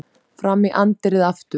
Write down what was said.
Fram í anddyrið aftur.